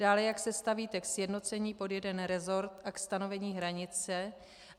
Dále, jak se stavíte k sjednocení pod jeden resort a ke stanovení hranice.